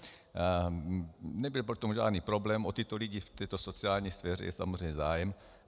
Nebyl v tom žádný problém, o tyto lidi v této sociální sféře je samozřejmě zájem.